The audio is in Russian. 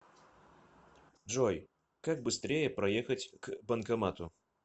джой как быстрее проехать к банкомату